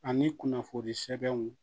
Ani kunnafoni sɛbɛnw